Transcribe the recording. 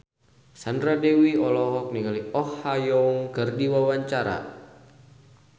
Sandra Dewi olohok ningali Oh Ha Young keur diwawancara